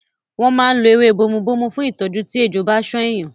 Wọ́n máa ń lo ewé bomubómú fún ìtọ́jú tí ejò bá ṣán èèyàn.